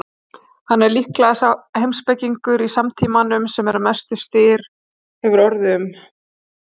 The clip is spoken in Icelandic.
Hann er líklega sá heimspekingur í samtímanum sem mestur styr hefur staðið um.